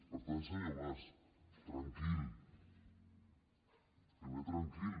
per tant senyor mas tranquil primer tranquil